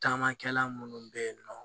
Taamakɛla munnu be yen nɔ